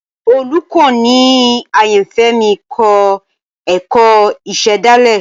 Olukọni ayanfẹ mi kọ ẹkọ isedale